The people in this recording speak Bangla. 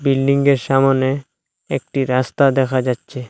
বিল্ডিংয়ের সামোনে একটি রাস্তা দেখা যাচ্ছে।